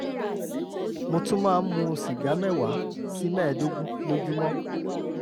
mo tún máa ń mu sìgá mẹ́wàá sí mẹ́ẹ̀ẹ́dógún lójúmọ́